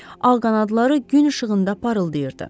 Ağ qanadları gün işığında parıldayırdı.